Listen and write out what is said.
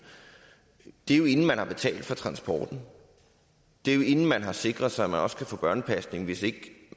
er jo inden man har betalt for transporten og det er jo inden man har sikret sig at man også kan få en børnepasning hvis